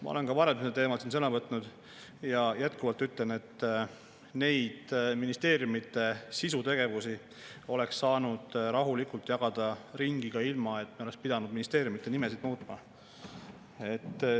Ma olen ka varem sel teemal siin sõna võtnud ja ütlen jätkuvalt, et ministeeriumide sisutegevusi oleks saanud rahulikult ringi jagada ka ilma, et me oleks pidanud ministeeriumide nimesid muutma.